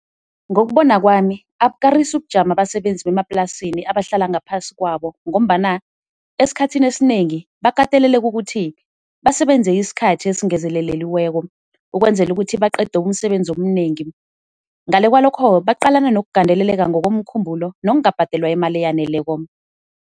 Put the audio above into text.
Ngokubona kwami abukarisi ubujamo abasebenzi bemaplasini abahlala ngaphasi kwabo, ngombana esikhathini esinengi bakateleleka ukuthi basebenze isikhathi ezingezeleliweko ukwenzela ukuthi baqede umsebenzi omnengi. Ngale kwalokho baqalana nokugandeleleka ngokomkhumbulo nokungabhadelwa imali eyaneleko.